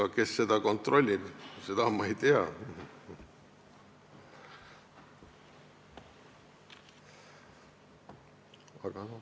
Aga kes seda kontrollib, seda ma ei tea.